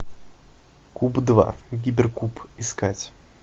куб два гиперкуб искать